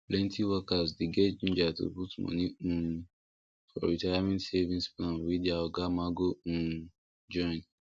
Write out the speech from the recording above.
plenty workers dey get ginger to put money um for retirement savings plan wey their oga ma go um join